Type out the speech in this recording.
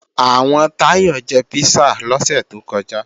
Àwọn Táyọ̀ jẹ písà lọ́sẹ̀ tó kọjá